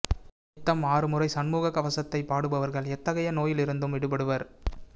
நித்தம் ஆறுமுறை சண்முக கவசத்தை பாடு பவர் கள் எத்தகைய நோயில் இருந்தும் விடுபடுவர்